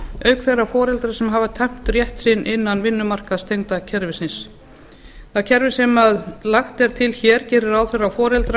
auk þeirra foreldra sem hafa tæmt rétt sinn innan vinnumarkaðstengda kerfisins það kerfi sem lagt er til hér gerir ráð fyrir að foreldrar